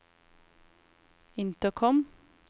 intercom